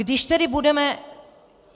Když tedy budeme...